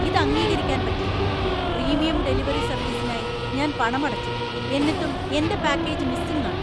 ഇത് അംഗീകരിക്കാൻ പറ്റില്ല ! പ്രീമിയം ഡെലിവറി സർവീസിനായി ഞാൻ പണമടച്ചു, എന്നിട്ടും എന്‍റെ പാക്കേജ് മിസ്സിംഗ് ആണ് !